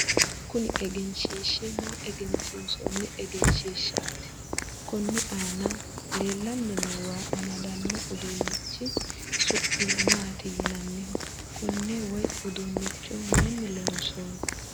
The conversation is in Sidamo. kuni egenshiishshi maa egensiinsoonni egenshiishshaati? konni aana leellanni noo waa amadanno uduunichi su'mi maati yinanniho? konne woyi uduunnicho mayiini loonsanni?